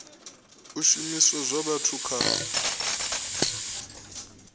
a zwishumiswa zwa vhathu kha